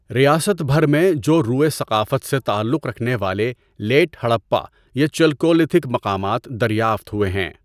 ریاست بھر میں جوروے ثقافت سے تعلق رکھنے والے لیٹ ہڑپہ یا چلکولیتھک مقامات دریافت ہوئے ہیں۔